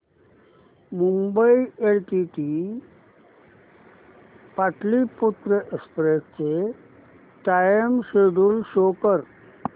Mumbai LTT Pataliputra express चे time schedule show कर